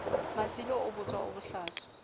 masilo o botswa o bohlaswa